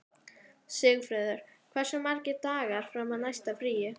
Sigfreður, hversu margir dagar fram að næsta fríi?